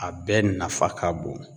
A bɛɛ nafa ka bon.